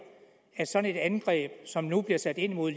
at sådan et angreb som nu bliver sat ind mod